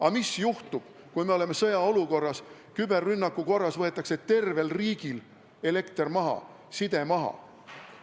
Aga mis juhtub, kui me oleme sõjaolukorras, kus küberrünnakuga võetakse tervel riigil elekter ja side maha?